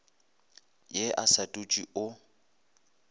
ye o sa dutse o